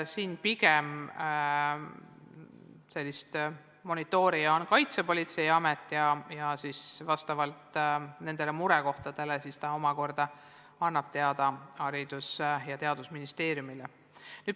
Siin on monitoorija pigem Kaitsepolitseiamet, kes murekohtade ilmnedes annab omakorda sellest teada Haridus- ja Teadusministeeriumile.